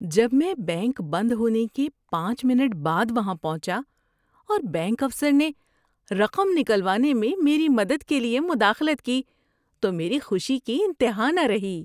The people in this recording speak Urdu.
جب میں بینک بند ہونے کے پانچ منٹ بعد وہاں پہنچا اور بینک افسر نے رقم نکلوانے میں میری مدد کے لیے مداخلت کی تو میری خوشی کی انتہا نہ رہی۔